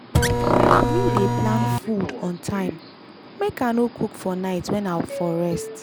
me dey plan food on time make i no cook for night wen i for rest.